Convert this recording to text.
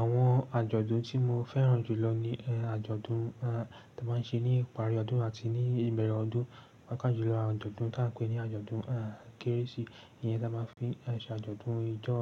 Àwọn àjọ̀dún tí mo fẹ́ràn jù lọ ni àjọ̀dún tí a máa ń ṣe ní ìparí ọdún àti ní ìbẹ̀rẹ̀ ọdún, pàápàá jùlọ àjọ̀dún tí a ń pè ní àjọ̀dún Kérésì. Iyẹn tí a máa ń fi ṣe àjọ̀dún ijó